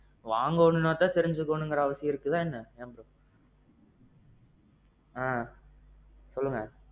வாங்கணும்னா தான் தெரிஞ்சிக்கோணும்ங்குற அவசியம் இருக்குதா என்ன? ஆ. சொல்லுங்க.